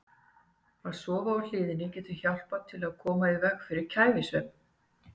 Að sofa á hliðinni getur hjálpað til við að koma í veg fyrir kæfisvefn.